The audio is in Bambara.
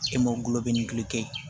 E m'o golo bɛ nin kɛ